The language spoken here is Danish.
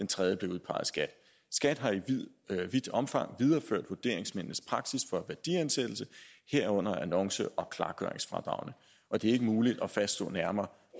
tredje blev udpeget af skat skat har i vidt omfang videreført vurderingsmændenes praksis for værdiansættelse herunder annonce og klargøringsfradragene og det er ikke muligt at fastslå nærmere